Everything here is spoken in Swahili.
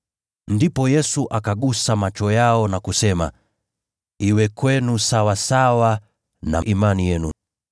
Ndipo Yesu akagusa macho yao na kusema, “Iwe kwenu sawasawa na imani yenu.”